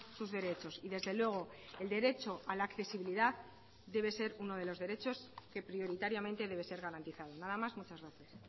sus derechos y desde luego el derecho a la accesibilidad debe ser uno de los derechos que prioritariamente debe ser garantizado nada más muchas gracias